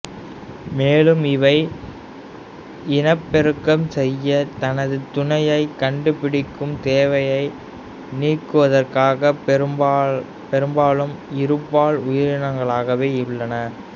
மேலும் இவை இனப்பெருக்கம் செய்ய தனது துணையைக் கண்டுபிடிக்கும் தேவையை நீக்குவதற்காக பெரும்பாலும் இருபால் உயிரினங்களாகவே உள்ளன